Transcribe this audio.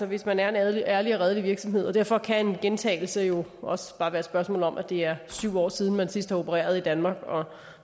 hvis man er en ærlig og redelig virksomhed og derfor kan en gentagelse jo også bare være et spørgsmål om at det er syv år siden man sidst har opereret i danmark og